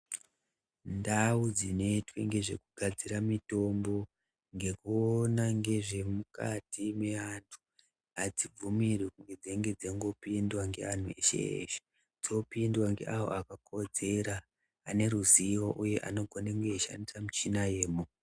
Ndau dzinoitwe nezvekugadzire mitombo ngekuona ngezvemukati meantu hadzibvumirwi kunge dzeingopindwa ngeantu eshe-eshe. Dzopindwa ngeavo vakakodzera aneruzivo uye anogone kunge chishandisa michina yemo.